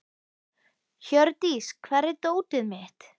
Hjördís, hvar er dótið mitt?